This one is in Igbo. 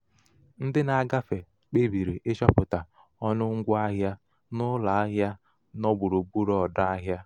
ndị um na-agafe kpebiri ịchọpụta ọnụ ngwa um ahịa n'ụlọ um ahịa nọ gburugburu ọdọ ahịa.